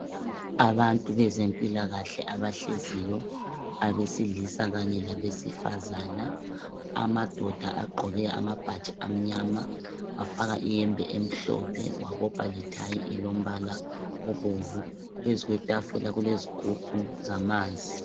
Abantu bezempilakahle abahleziyo, abesilisa kanye labesifazana. Amadoda agqoke amabhatshi amnyama, bafaka iyembe emhlophe. Wabopha lethayi elombala obomvu. Phezulu kwetafula kulezigubhu zamanzi.